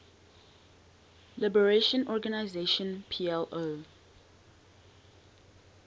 liberation organization plo